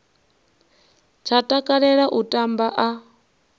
tsha takalela u tamba a